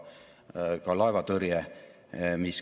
Eestis on aga ligi 80 000 aadressi, mis on ilma kiire internetiühenduseta.